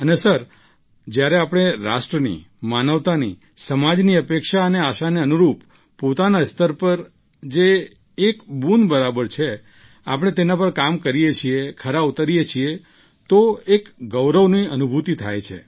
અને સર જ્યારે આપણે રાષ્ટ્રની માનવતાની સમાજની અપેક્ષા અને આશાને અનુરૂપ પોતાના સ્તર પર જે એક બુંદ બરાબર છે આપણે તેના પર કામ કરીએ છીએ ખરા ઉતરીએ છીએ તો એક ગૌરવની અનુભૂતિ થાય છે